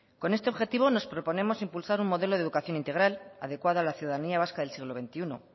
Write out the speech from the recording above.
con este objetivo nos proponemos impulsar un modelo de educación integral adecuada a la ciudadanía vasca del siglo veintiuno